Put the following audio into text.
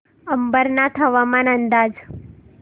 अंबरनाथ हवामान अंदाज